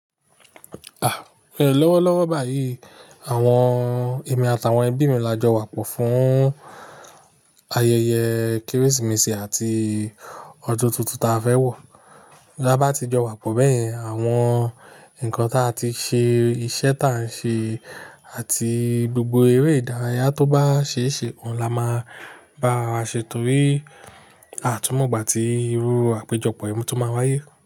Ah! Lọ́wọ́lọ́wọ́ báyìí, àwọn ẹ̀mí àtàwọn ẹbí mi la jọ wà pò fún ayẹyẹ Kérésìmesì àti ọdún tuntun ta fẹ́ wọ̀. Bí a bá ti jọ wà pò bẹ́ẹ̀ yẹn, àwọn nǹkan ta ti ṣe iṣẹ́ ta ń ṣe àti gbogbo eré ìdárayá tó bá ṣe é ṣe òun la máa bá ara wa ṣe, torí à a tú mọ̀ ìgbà ti irú àpéjọpọ̀ yìí tó máa wáyé.